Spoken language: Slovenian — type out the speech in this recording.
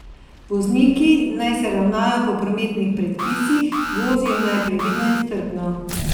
Vozniki naj se ravnajo po prometnih predpisih, vozijo naj previdno in strpno.